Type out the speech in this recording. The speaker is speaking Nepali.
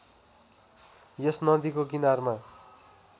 यस नदीको किनारमा